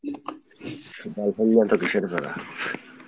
girlfriend নিয়ে এতো কীসের প্যারা?